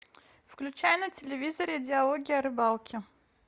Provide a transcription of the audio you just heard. включай на телевизоре диалоги о рыбалке